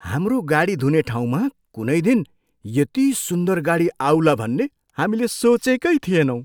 हाम्रो गाडी धुने ठाउँमा कुनै दिन यति सुन्दर गाडी आउला भन्ने हामीले सोचेकै थिएनौँ।